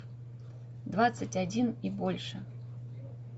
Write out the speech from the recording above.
двадцать один и больше